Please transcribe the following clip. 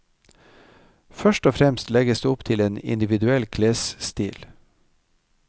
Først og fremst legges det opp til en individuell klesstil.